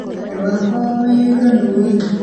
Andũ a kwao maiyũirwo nĩ wĩiru